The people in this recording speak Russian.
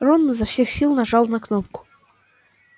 рон изо всех сил нажал на кнопку